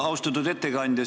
Austatud ettekandja!